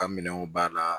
Ka minɛnw banna